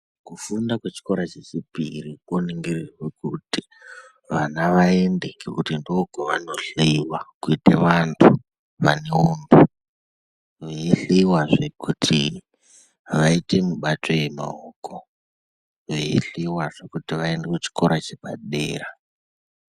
Kufunda kwechikora chechipiri koningirirwe kuti vana vaende ngekuti ndookwavanohleiwa kuite vantu vaneuntu. Veihliwazve kuti vaite mibato yemaoko, veihliwazve kuti vaende kuchikora chepadera.